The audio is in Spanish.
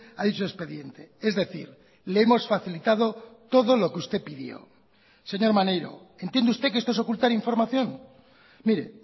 a dicho expediente es decir le hemos facilitado todo lo que usted pidió señor maneiro entiende usted que esto es ocultar información mire